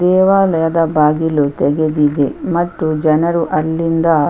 ದೇವಾಲಯದ ಬಾಗಿಲು ತೆಗೆದಿದೆ ಮತ್ತು ಜನರು ಅಲ್ಲಿಂದ --